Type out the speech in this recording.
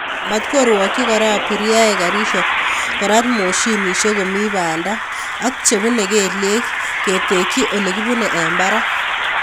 Matkorwochi Kora abiriaek garisiek korat moshinishek komi banda ak chebunei kelyek ketekchi Ole kibunei eng barak